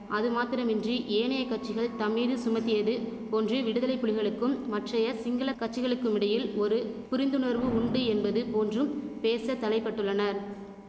அதுமாத்திரமின்றி ஏனைய கட்சிகள் தம்மீது சுமத்தியது போன்று விடுதலை புலிகளுக்கும் மற்றைய சிங்கள கட்சிகளுக்குமிடையில் ஒரு புரிந்துணர்வு உண்டு என்பது போன்றும் பேச தலைப்பட்டுள்ளனர்